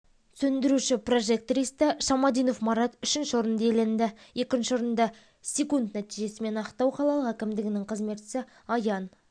сөндіруші-прожектористі шамадинов марат үшінші орынды иеленді екінші орынды секунд нәтижесімен ақтау қалалық әкімдігінің қызметшісі аян